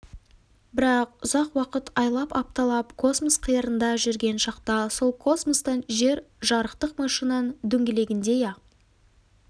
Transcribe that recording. бірақ ұзақ уақыт айлап апталап космос қиырында жүрген шақта сол космостан жер жарықтық машинаның дөңгелегіндей ақ